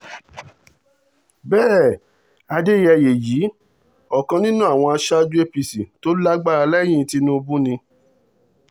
bẹ́ẹ̀ adẹ́yẹyẹ yìí ọ̀kan nínú àwọn aṣáájú apc tó lágbára lẹ́yìn tìṣubù ni